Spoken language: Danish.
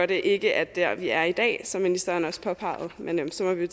det ikke er der vi er i dag som ministeren også påpegede men så må vi